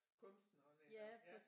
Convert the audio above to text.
Kunsteren eller ja